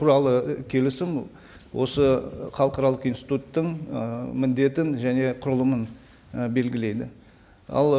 туралы келісім осы халықаралық институттың і міндетін және құрылымын і белгілейді ал